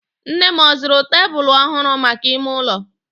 Nne m ọ zụrụ tebụlụ ọhụrụ maka ime ụlọ?